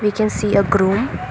We can see a groom.